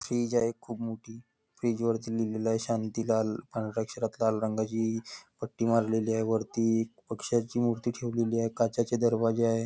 Stage आहे खूप मोठी स्टेज वरती लिहिलेलं आहे शांतीलाल लाल रंगाची पट्टी मारलेली आहे वरती पक्ष्याची मूर्ती ठेवलेली आहे काचाचे दरवाजे आहे.